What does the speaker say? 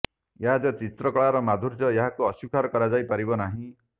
ଏହା ଯେ ଚିତ୍ରକଳାର ମାଧୁର୍ଯ୍ୟ ଏହାକୁ ଅସ୍ୱୀକାର କରାଯାଇପାରିବ ନାହିଁ